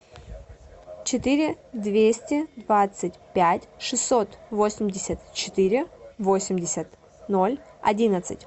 четыре двести двадцать пять шестьсот восемьдесят четыре восемьдесят ноль одиннадцать